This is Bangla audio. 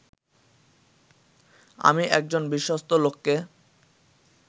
আমি একজন বিশ্বস্ত লোককে